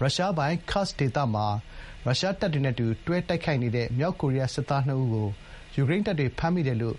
ရုရှားပိုင် Kursk ဒေသမှာ ရုရှားတပ်တွေနဲ့ အတူတွဲ တိုက်ခိုက်နေတဲ့ မြောက်ကိုရီးယား စစ်သား ၂ ဦးကို ယူကရိန်းတပ်တွေ ဖမ်းမိတယ်လို့